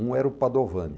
Um era o Padovani.